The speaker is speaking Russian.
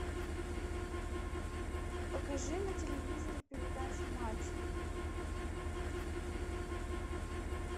покажи на телевизоре передачу матч